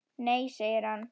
Nei segir hann.